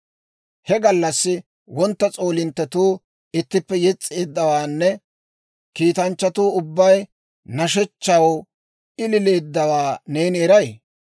He gallassi wontta s'oolinttetuu ittippe yes's'eeddawaanne kiitanchchatuu ubbay nashshechchaw ilileeddawaa neeni eray?